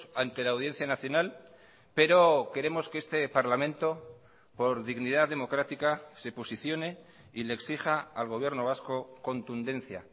ante la audiencia nacional pero queremos que este parlamento por dignidad democrática se posicione y le exija al gobierno vasco contundencia